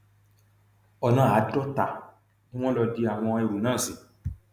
ọnà àádọta ni wọn lọ di àwọn ẹrú náà sí